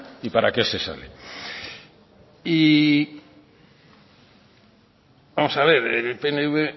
y para qué se sale y vamos a ver el pnv